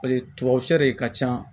Paseke tubabu sɛ de ka ca